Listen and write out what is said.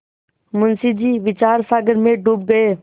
मुंशी जी विचारसागर में डूब गये